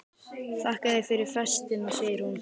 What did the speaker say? Þakka þér fyrir festina, segir hún.